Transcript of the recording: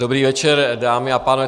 Dobrý večer, dámy a pánové.